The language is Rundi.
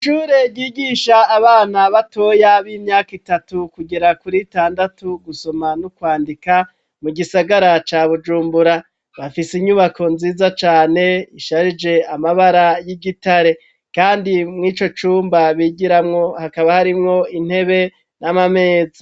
Icure gigisha abana batoya b'imyaka itatu kugira kuri tandatu gusoma n'ukwandika mu gisagara ca bujumbura bafise inyubako nziza cane isharije amabara y'igitare, kandi mw'ico cumba bigiramwo hakaba harimwo intebe n'amamezi.